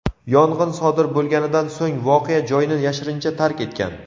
yong‘in sodir bo‘lganidan so‘ng voqea joyini yashirincha tark etgan.